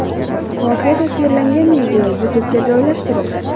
Voqea tasvirlangan video YouTube’ga joylashtirildi.